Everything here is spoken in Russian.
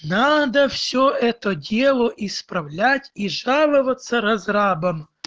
надо все это дело исправлять и жаловаться разрабам